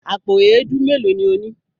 Àpò èédú mélòó ni o ní?